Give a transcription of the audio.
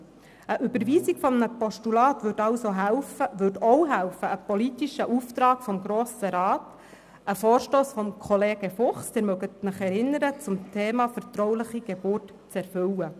Die Überweisung eines Postulats würde also auch helfen, einen politischen Auftrag des Grossen Rats, einen Vorstoss von Kollege Fuchs zum Thema vertrauliche Geburt – Sie erinnern sich –, zu erfüllen.